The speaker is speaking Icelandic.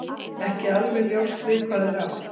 Ekki er alveg ljóst við hvað er átt.